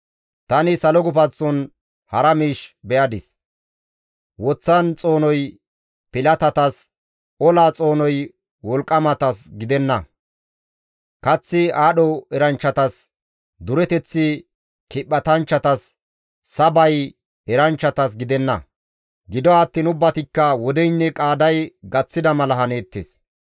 Tani salo gufanththon hara miish be7adis; woththan xoonoy pilatatas olan xoonoy wolqqamatas gidenna; kaththi aadho eranchchatas, dureteththi kiphatanchchatas, sabay eranchchatas gidenna; gido attiin ubbatikka wodeynne qaaday gaththida mala haneettes.